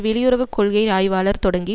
வெளியுறவு கொள்கை ஆய்வாளர் தொடங்கி